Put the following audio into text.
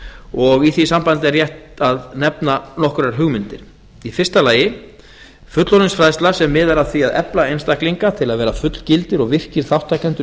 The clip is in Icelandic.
og í því sambandi er rétt að nefna nokkrar hugmyndir fyrstu fullorðinsfræðsla sem miðar að því að efla einstaklinga til að vera fullgildir og virkir þátttakendur í